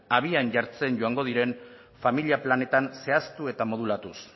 abian jartzen joango diren familia planetan zehaztu eta modulatuz